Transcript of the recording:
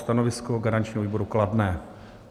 Stanovisko garančního výboru: kladné.